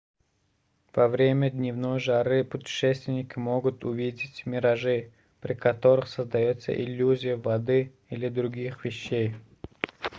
во время дневной жары путешественники могут увидеть миражи при которых создается иллюзия воды или других вещей